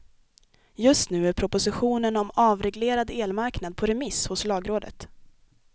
Just nu är propositionen om avreglerad elmarknad på remiss hos lagrådet.